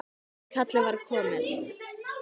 En kallið var komið.